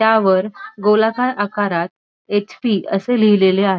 त्यावर गोलाकार आकारात एच_पी असे लिहिलेले आ --